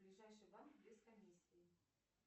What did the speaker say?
ближайший банк без комиссии